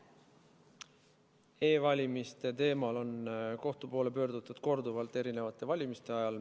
E-valimiste teemal on kohtu poole pöördutud korduvalt, mitmete valimiste ajal.